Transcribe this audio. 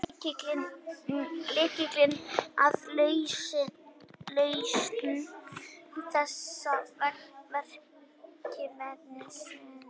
Lykillinn að lausn þessa verkefnis felst í tvennu.